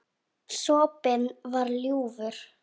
Sopinn var ljúfur.